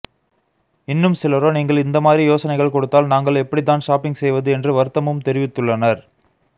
இன்னும் சிலரோ நீங்கள் இந்தமாதிரி யோசனைகள் கொடுத்தால் நாங்கள் எப்படித்தான் ஷாப்பிங் செய்வது என்று வருத்தமும் தெரிவித்துள்ளனர்